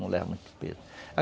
Não leva muito peso.